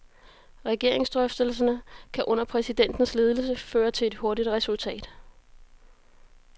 Regeringsdrøftelserne kan under præsidentens ledelse føre til et hurtigt resultat.